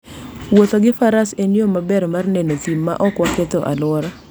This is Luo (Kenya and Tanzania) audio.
Wuotho gi Faras en yo maber mar neno thim maok waketho alwora.